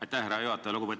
Aitäh, härra juhataja!